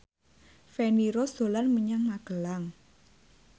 Feni Rose dolan menyang Magelang